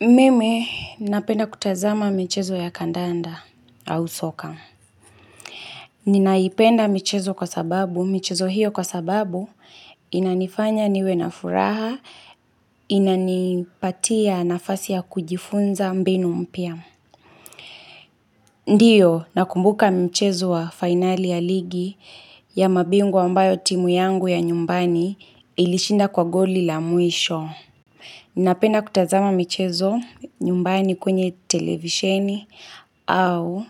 Mimi, napenda kutazama michezo ya kandanda au soka. Ninaipenda michezo hiyo kwa sababu, inanifanya niwe na furaha, inanipatia nafasi ya kujifunza mbinu mpya. Ndiyo, nakumbuka mchezo wa finali ya ligi ya mabingwa ambayo timu yangu ya nyumbani ilishinda kwa goli la mwisho. Ninapenda kutazama michezo nyumbani kwenye televisheni au